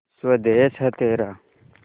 स्वदेस है तेरा